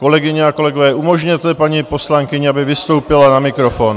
Kolegyně a kolegové, umožněte paní poslankyni, aby vystoupila na mikrofon.